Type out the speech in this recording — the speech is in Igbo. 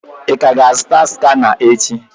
Ị ga ka-azụta skana echi?